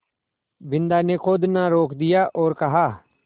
बिन्दा ने खोदना रोक दिया और कहा